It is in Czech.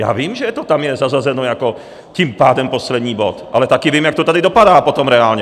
Já vím, že to tam je zařazeno jako tím pádem poslední bod, ale taky vím, jak to tady dopadá potom reálně!